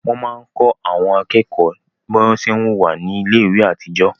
Wọ́n máa ń kọ́ àwọn akẹ́kọ̀ọ́ bí wọ́n ṣé ń wùwá ní iléèwé àtijọ́